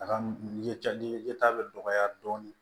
A ka yeta ɲɛtaga bɛ dɔgɔya dɔɔnin